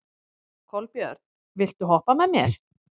Kolbjörn, viltu hoppa með mér?